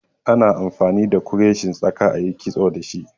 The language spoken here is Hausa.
Ana amfani da kureshin tsaka ayi kitso da shi